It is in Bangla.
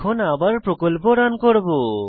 এখন আবার প্রকল্প রান করব